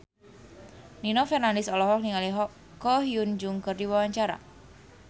Nino Fernandez olohok ningali Ko Hyun Jung keur diwawancara